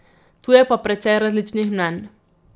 Tu je pa precej različnih mnenj.